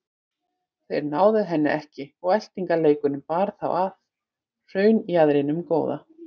Þeir náðu henni ekki og eltingaleikurinn bar þá að hraunjaðrinum góða.